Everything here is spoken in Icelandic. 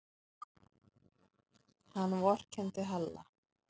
Hann vorkenndi Halla.